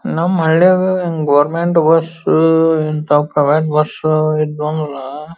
ನಮ್ಮ ಹಳ್ಳಿ ಆಗ ಗವರ್ನಮೆಂಟ್ ಬಸ್ ಇಂಥವ ಪ್ರೈವೇಟ್ ಬಸ್ --